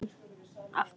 Svo brosti hún aftur.